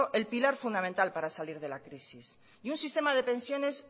el pilar fundamental para salir de la crisis y un sistema de pensiones